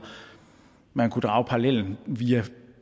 man kunne drage parallellen via